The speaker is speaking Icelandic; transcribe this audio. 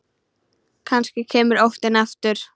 Kannski kemur óttinn aftur.